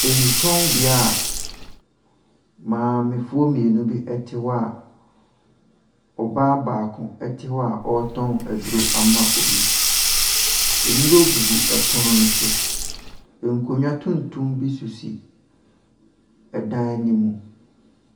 Nnutɔnbea a maamefoɔ mmienu bi te hɔ a ɔbaa baako te hɔ a ɔretɔn aduro ama obi. Nnuro gugu pono no so. Nkonnwa tuntum bi sisi ɛdan no mu.